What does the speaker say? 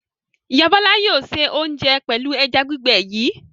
Ìyá Bọ́lá yóò se oúnjẹ pẹ̀lú ẹja gbígbẹ yìí.